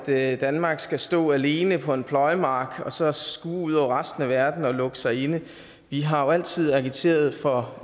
at danmark skal stå alene på en pløjemark og så skue ud over resten af verden og lukke sig inde vi har jo altid agiteret for